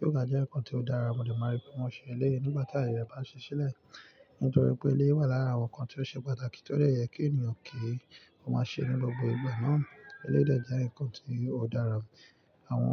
Yoga jẹ́ ǹkan tí ó dára, mo dẹ̀ máa rí bí wọ́n ṣe ń ṣe nígbà tí ayẹyẹ bá ṣe sílẹ̀. Nítorí pé eleyi wà lára àwọn ǹkan tí ó ṣe pàtàkì tí ó dẹ̀ yẹ kí ènìyàn kì í máa ṣe nínú gbogbo ìgbà náà. Ilé dẹ̀ jẹ́ ǹkan tí ó dára.